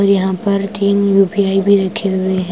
यहां पर तीन यू_पी_आई भी रखे हुए है।